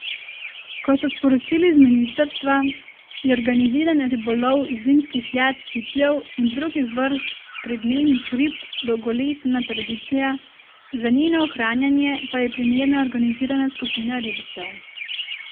Kot so sporočili z ministrstva, je organiziran ribolov zimskih jat cipljev in drugih vrst pridnenih rib dolgoletna tradicija, za njeno ohranjanje pa je primerna organizirana skupina ribičev.